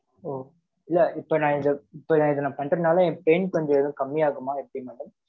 ஓ, இல்ல இப்ப நான் இத இப்ப நான் இதை நான் பண்றதுனால, என் pain கொஞ்சம் எதுவும் கம்மியாகுமா? எப்படி madam?